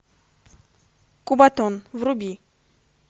кубатон вруби